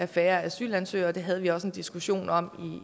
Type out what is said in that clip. færre asylansøgere det havde vi også en diskussion om